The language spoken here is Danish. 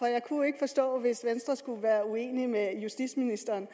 jeg kunne ikke forstå hvis venstre skulle være uenig med justitsministeren